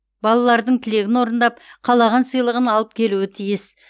балалардың тілегін орындап қалаған сыйлығын алып келуі тиіс